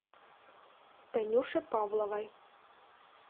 танюше павловой